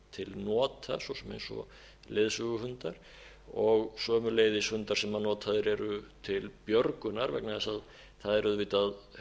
til nota svo sem eins og leiðsöguhundar sömuleiðis hundar sem notaðir eru til björgunar vegna þess að það er auðvitað